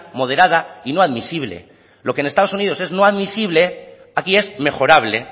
moderada y no admisible lo que en estados unidos es no admisible aquí es mejorable